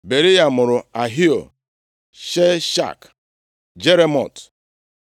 Beriya mụrụ Ahio, Shashak, Jeremot,